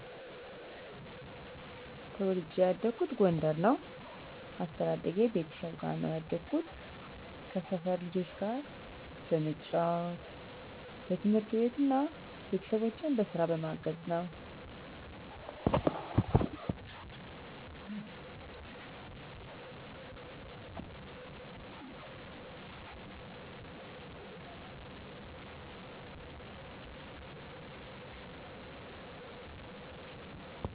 ተወልጄ ያደኩት ጎንደር ነው። አስተዳደጌ ቤተሰብ ጋር ነው ያደኩት፣ ከሰፈር ልጆች ጋር በመጫዎት፣ በትምህርት እና ቤተሰቦቼን በስራ በማገዘ ነው።